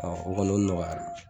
Ɔn o kɔni o nɔgɔyala.